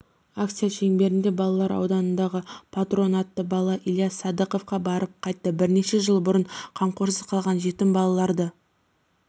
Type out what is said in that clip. акция шеңберінде балалар ауылындағы патронатты бала ильис садықовқа барып қайтты бірнеше жыл бұрын қамқорлықсыз қалған жетім-балаларды